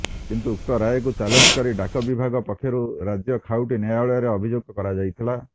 କିନ୍ତୁ ଉକ୍ତ ରାୟକୁ ଚ୍ୟାଲେଞ୍ଜ କରି ଡାକ ବିଭାଗ ପକ୍ଷରୁ ରାଜ୍ୟ ଖାଉଟି ନ୍ୟାୟାଳୟରେ ଅଭିଯୋଗ କରାଯାଇଥିଲା